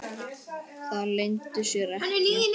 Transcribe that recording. Það leyndi sér ekki.